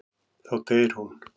Þá deyr hún.